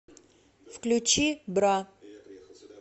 включи бра